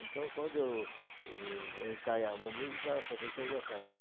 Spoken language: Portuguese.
Então, quando eu eu ensaiava uma música, o professor já sabe.